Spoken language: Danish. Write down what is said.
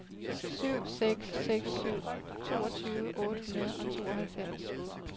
syv seks seks syv toogtyve otte hundrede og tooghalvfems